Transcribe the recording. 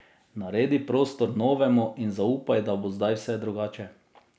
Naredi prostor novemu in zaupaj, da bo zdaj vse drugače.